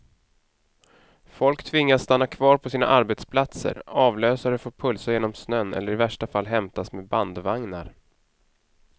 Folk tvingas stanna kvar på sina arbetsplatser, avlösare får pulsa genom snön eller i värsta fall hämtas med bandvagnar.